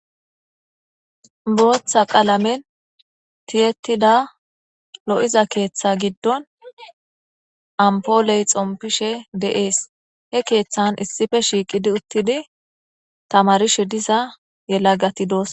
Booththa qalamen tiyetida lo7iza keeththa giddon ampooley xompishe de7ees he keeththan issife shiiqidi uttidi tamarishe disa yela gati doos